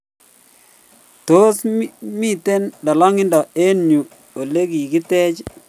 Tos, mito lolongindo eng yuu olegigitech?